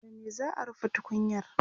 da me za'a rufe tukunyar?